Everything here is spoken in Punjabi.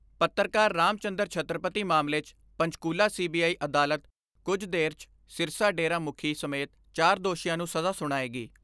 ਪੱਤਰਕਾਰ ਰਾਮ ਚੰਦਰ ਛੱਤਰਪਤੀ ਮਾਮਲੇ 'ਚ ਪੰਚਕੂਲਾ ਸੀ ਬੀ ਆਈ ਅਦਾਲਤ ਕੁਝ ਦੇਰ 'ਚ ਸਿਰਸਾ ਡੇਰਾ ਮੁੱਖੀ ਸਮੇਤ ਚਾਰ ਦੋਸ਼ੀਆਂ ਨੂੰ ਸਜ਼ਾ ਸੁਣਾਏਗੀ।